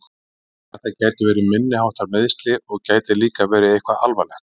Þetta gætu verið minniháttar meiðsli og gæti líka verið eitthvað alvarlegt.